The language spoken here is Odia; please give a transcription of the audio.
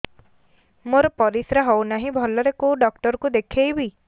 ମୋର ପରିଶ୍ରା ହଉନାହିଁ ଭଲରେ କୋଉ ଡକ୍ଟର କୁ ଦେଖେଇବି